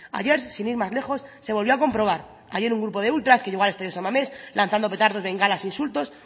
ayer sin ir más lejos se volvió a comprobar ayer un grupo de ultras que llegó al estadio san mamés lanzando petardos bengalas e insultos